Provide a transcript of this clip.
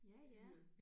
Ja ja